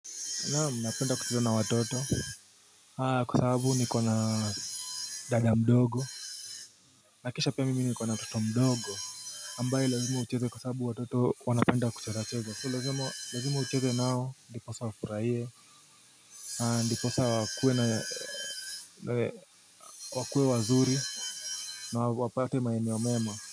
Naam napenda kucheza na watoto Haa kwa sababu nikona dada mdogo Nakisha pia mimi nikona mtoto mdogo ambaye lazima ucheze kwa sababu watoto wanapenda kucheza cheza so lazima ucheze nao ndi posa wafuraie Haa ndi posa wakue na ee wakue wazuri na wapate maeneo mema.